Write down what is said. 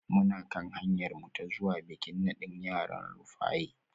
Muna kan hanyarmu ta zuwa bikin nadin yaran Rufaye